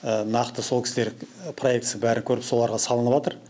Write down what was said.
нақты сол кісілер проектісі бәрі көріп соларға салынып ватыр